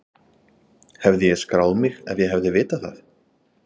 Hefði ég skráð mig ef ég hefði vitað það?